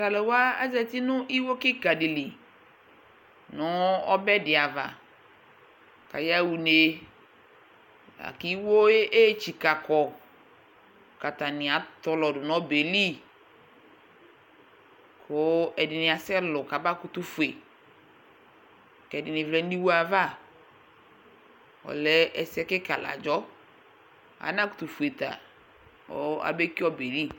t'alò wa azati no iwo keka di li no ɔbɛ di ava k'aya ɣa une la kò iwo yɛ etsika kɔ k'atani atɔlɔ do n'ɔbɛ yɛ li kò ɛdini asɛ lò kaba kutò fue k'ɛdini vlɛ n'iwo ava k'ɔlɛ ɛsɛ keka la adzɔ ana kutò fue ta kò abe ki ɔbɛ yɛ li